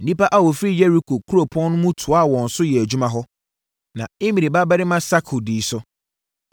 Nnipa a wɔfiri Yeriko kuropɔn no mu toaa wɔn so yɛɛ adwuma hɔ, na Imri babarima Sakur dii so.